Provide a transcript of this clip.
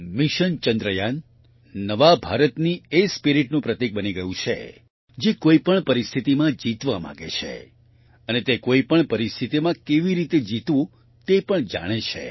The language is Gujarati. મિશન ચંદ્રયાન નવા ભારતની એ spiritનું પ્રતીક બની ગયું છે જે કોઈપણ પરિસ્થિતિમાં જીતવા માંગે છે અને તે કોઈપણ પરિસ્થિતિમાં કેવી રીતે જીતવું તે પણ જાણે છે